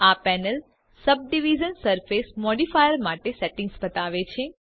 આ panel subdivision surface modifier માટે settings બતાવે છે